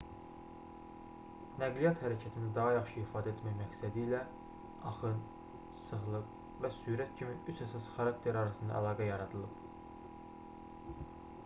nəqliyyat hərəkətini daha yaxşı ifadə etmək məqsədilə 1 axın 2 sıxlıq və 3 sürət kimi üç əsas xarakter arasında əlaqə yaradılıb